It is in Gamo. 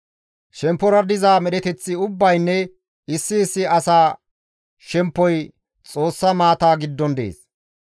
Shemppora paxa diza medheteththi ubbaynne issi issi asa shemppoy Xoossa maata giddon dees.